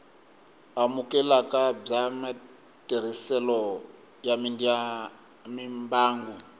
amukeleka bya matirhiselo ya mimbangu